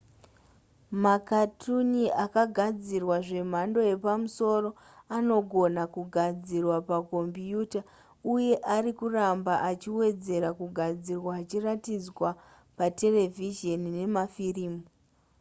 makatuni akagadzirwa zvemhando yepamusoro anogona kugadzirwa pakombiyuta uye ari kuramba achiwedzera kugadzirwa achiratidzwa pamaterevhizheni nemafirimu